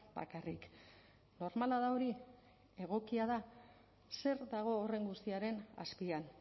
bakarrik normala da hori egokia da zer dago horren guztiaren azpian